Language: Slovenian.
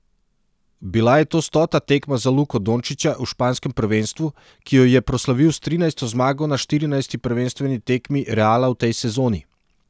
Bila je to stota tekma za Luko Dončića v španskem prvenstvu, ki jo je proslavil s trinajsto zmago na štirinajsti prvenstveni tekmi Reala v tej sezoni.